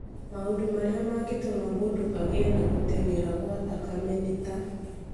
Maũndũ marĩa mangĩtũma mũndũ agĩe na gũtenyera kwa thakame nĩ ta;